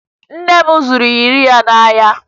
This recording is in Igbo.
Nne m zụrụ iyeri ya n'ahịa